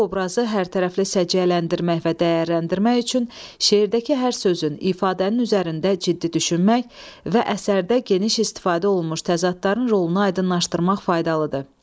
Bu obrazı hər tərəfli səciyyələndirmək və dəyərləndirmək üçün şeirdəki hər sözün, ifadənin üzərində ciddi düşünmək və əsərdə geniş istifadə olunmuş təzadların rolunu aydınlaşdırmaq faydalıdır.